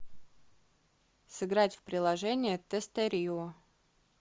сыграть в приложение тестерио